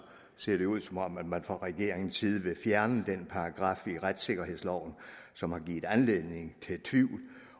ser det ud som om man man fra regeringens side vil fjerne den paragraf i retssikkerhedsloven som har givet anledning til tvivl